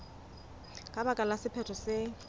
ka baka la sephetho se